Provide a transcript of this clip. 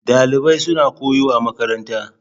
Dalibai suna koyo a makaranta.